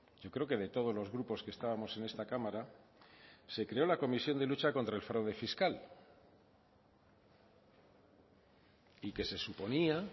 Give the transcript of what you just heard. yo creo que de todos los grupos que estábamos en esta cámara se creó la comisión de lucha contra el fraude fiscal y que se suponía